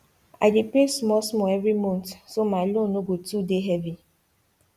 i dey pay small small every month so my loan no go too dey heavy